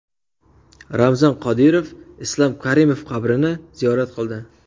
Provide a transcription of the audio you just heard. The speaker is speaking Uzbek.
Ramzan Qodirov Islom Karimov qabrini ziyorat qildi.